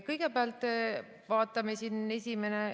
Kõigepealt vaatame seda.